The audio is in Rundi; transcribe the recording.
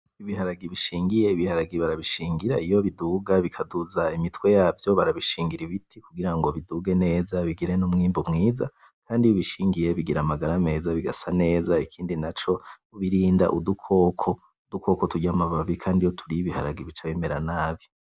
Ibiharage bishingiye ,Ibiharage barabishingira iyo biduga bikaduza imitwe yavyo barabishingira ibiti kugirango biduge neza bigire n'umwimbu mwiza kandi iyo ubishingiye bigira amagara meza bigasa neza ikindi naco ubirinda udukoko ,udukoko turya ama babi kandi iyo turiye ibiharage bica bimera nabi